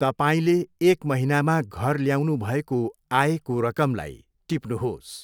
तपाईँले एक महिनामा घर ल्याउनु भएको आयको रकमलाई टिप्नुहोस्।